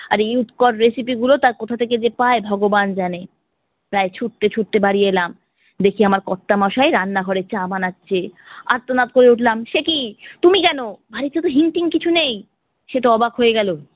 আর এই উৎকট recipe গুলো তার কথা থেকে যে পায় ভগবান জানে। প্রায় ছুটতে ছুটতে বাড়ি এলাম, দেখি আমার কর্তামশাই রান্না ঘরে চা বানাচ্ছে। আর্তনাদ করে উঠলাম সেকি তুমি কেন? বাড়িতে তো হিং টিং কিছু নেই। সে তো অবাক হয়ে গেলো,